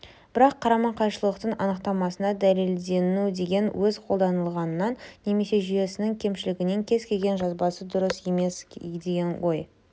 бірақ қарама-қайшылықтың анықтамасында дәлелденуі деген сөз қолданылғанынан немесе жүйесінің кемшілігінен кез-келген жазбасы дұрыс емес деген ой